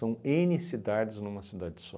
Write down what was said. ene cidades numa cidade só.